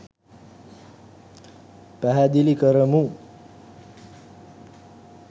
පැහැදිලි කරමු.